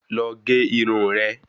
Lọ gé irun rẹ